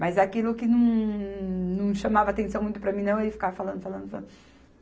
Mas aquilo que hummmm não chamava atenção muito para mim não, ele ficava falando, falando, falando.